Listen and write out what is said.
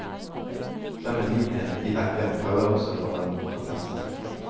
Den medlidenhet de vekker, kaller også på en protest.